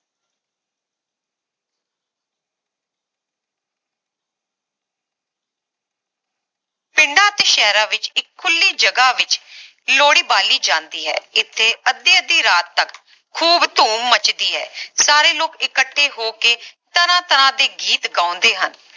ਪਿੰਡਾਂ ਅਤੇ ਸ਼ਹਿਰਾਂ ਵਿਚ ਇਕ ਖੁੱਲੀ ਜਗਹ ਵਿਚ ਲੋਹੜੀ ਬਾਲੀ ਜਾਂਦੀ ਹੈ ਇਥੇ ਅੱਧੀ ਅੱਧੀ ਰਾਤ ਤਕ ਖੂਬ ਧੂਮ ਮੱਚਦੀ ਹੈ ਸਾਰੇ ਲੋਕ ਇਕੱਠੇ ਹੋ ਕੇ ਤਰ੍ਹਾਂ ਤਰ੍ਹਾਂ ਦੇ ਗੀਤ ਗਾਉਂਦੇ ਹਨ